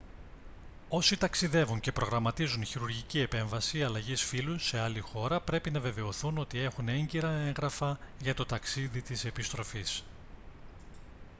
όσοι ταξιδεύουν και προγραμματίζουν χειρουργική επέμβαση αλλαγής φύλου σε άλλη χώρα πρέπει να βεβαιωθούν ότι έχουν έγκυρα έγγραφα για το ταξίδι της επιστροφής